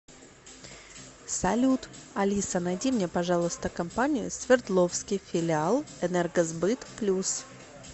салют алиса найди мне пожалуйста компанию свердловский филиал энергосбыт плюс